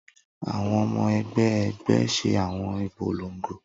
Awọn ọmọ ẹgbẹ ẹgbẹ ṣe awọn ipolongo